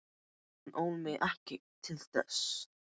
Hún ól mig ekki til þess.